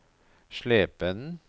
Slependen